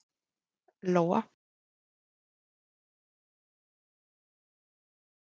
Lóa: Nú er hann skotinn, hvað fannst ykkur um það?